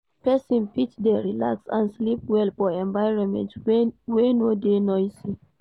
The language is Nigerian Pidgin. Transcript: Persin fit de relaxed and sleep well for environment wey no de noisy